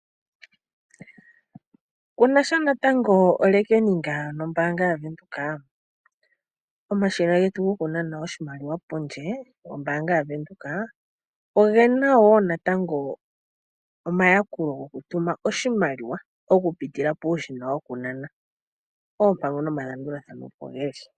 Kunasha natango omapungulilo nombaanga yaWindhoek? Omashina getu gokunana oshimaliwa pondje gombaanga yaWindhoek ogena wo natango omayakulo gokutuma oshimaliwa okupitila momashina gokunana. Oompango nomalandulathano opo geli.